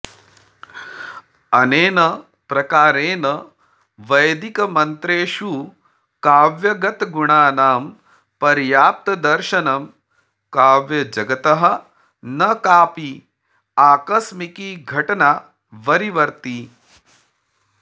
अनेन प्रकारेण वैदिकमन्त्रेषु काव्यगतगुणानां पर्याप्तदर्शनं काव्यजगतः न काऽपि आकस्मिकी घटना वरीवर्ति